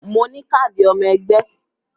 Mo ní káàdì ọmọ ẹgbẹ́